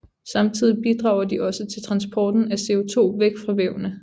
Samtidig bidrager de også til transporten af CO2 væk fra vævene